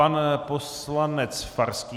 Pan poslanec Farský.